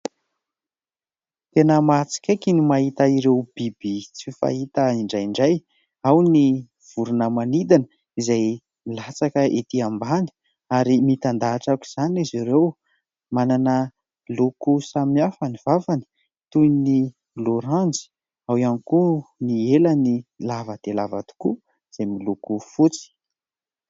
Tena mahatsikaiky ny mahita ireo biby tsy fahita indraindray. Ao ny vorona manidina izay milatsaka ety ambany ary mitandahatra aok'izany izy ireo. Manana loko samihafa ny vavany toy ny loranjy, ao ihany koa ny helany lava dia lava tokoa izay miloko fotsy.